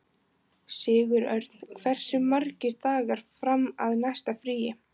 Sigurörn, hversu margir dagar fram að næsta fríi?